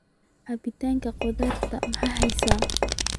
cabitanka qudrada maxaa haysaa